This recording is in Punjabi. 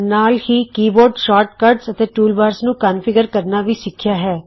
ਨਾਲ ਹੀ ਅਸੀਂ ਕੀਬੋਰਡ ਸ਼ੋਰਟ ਕੱਟਜ਼ ਅਤੇ ਟੂਲਬਾਰਜ਼ ਨੂੰ ਕੋਨਫਿਗਰ ਕਰਨਾ ਵੀ ਸਿੱਖਿਆ ਹੈ